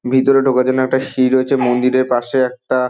ভিতরে ঢোকার জন্য একটা সিঁড়ি রয়েছে মন্দিরের পাশে একটা--